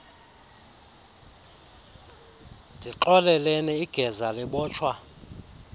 ndixoleleni igeza libotshwa